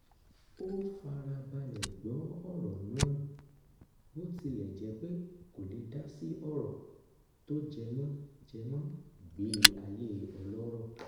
ó fara balẹ̀ gbọ́ ọ̀rọ̀ náà bó tilẹ̀ jẹ́ pé kò lè dásí ọ̀rọ̀ tó jẹmọ jẹmọ ìgbé ayé ọlọ́rọ̀